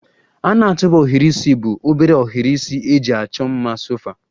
A na-atụba ohiri isi bụ obere ohiri isi eji achọ mma sofa